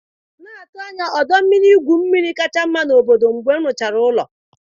Na-atụ anya ọdọ mmiri igwu mmiri kacha mma n'obodo, mgbe m rụchara ụlọ m.